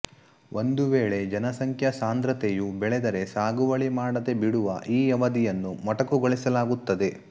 ಒಂದು ವೇಳೆ ಜನಸಂಖ್ಯಾ ಸಾಂದ್ರತೆಯು ಬೆಳೆದರೆ ಸಾಗುವಳಿ ಮಾಡದೆ ಬಿಡುವ ಈ ಅವಧಿಯನ್ನು ಮೊಟಕುಗೊಳಿಸಲಾಗುತ್ತದೆ